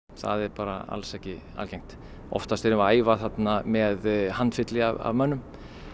það er bara alls ekki algengt oftast erum við æfa með handfylli af mönnum